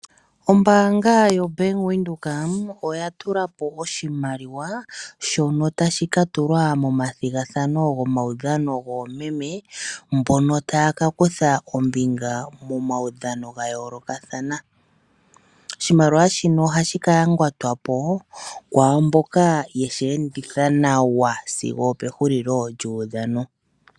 Obank windhoek oya tula po oshimaliwa shono tashi ka tulwa momatigathano gomawudhano gomeme mbono taya ka kutha ombinga momawudhano ga yoolokathana. Oshimaliwa shino ohashi ka yangatwa po kwamboka yeshi enditha nawa sigo ope gulilo lyudhano.